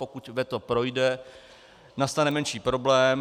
Pokud veto projde, nastane menší problém.